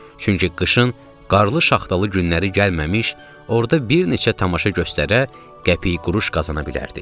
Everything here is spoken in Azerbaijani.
Çünki qışın qarlı-şaxtalı günləri gəlməmiş, orda bir neçə tamaşa göstərə, qəpik-quruş qazana bilərdik.